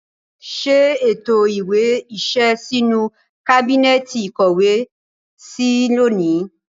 Ṣé ètò ìwé iṣẹ́ sínú kábínẹ́ẹ̀tì ìkówèé sí lónìí